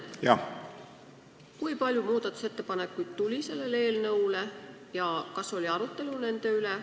Minu küsimus on selline: kui palju muudatusettepanekuid selle eelnõu kohta tuli ja kas nende üle oli ka arutelu?